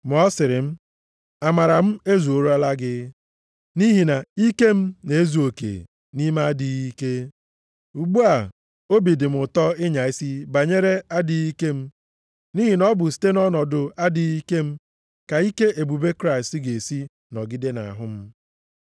Ma ọ sịrị m, “Amara m ezuorola gị. Nʼihi na ike m na-ezu oke nʼime adịghị ike.” Ugbu a, obi dị m ụtọ ịnya isi banyere adịghị ike m. Nʼihi na ọ bụ site nʼọnọdụ adịghị ike m ka ike ebube Kraịst ga-esi nọgide nʼahụ m.